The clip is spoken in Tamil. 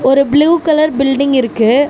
ஒரு ப்ளூ கலர் பில்டிங் இருக்கு.